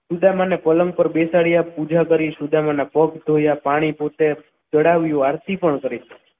સુદામાને પલંગ પર બેસાડ્યા પૂજા કરીશું સુદામા નો પગ થોડો ધોળા પાણી પોતે ચઢાવ્યું આરતી પણ કરી.